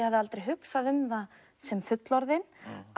hafði aldrei hugsað um það sem fullorðin